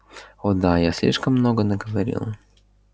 о да я слишком много наговорил